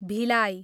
Bhilai